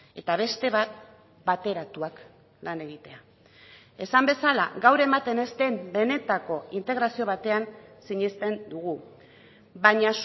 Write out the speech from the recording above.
eta beste bat bateratuak lan egitea esan bezala gaur ematen ez den benetako integrazio batean sinesten dugu baina